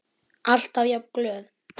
Alltaf jafn glöð.